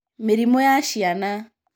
Mĩrimũ ya ciana.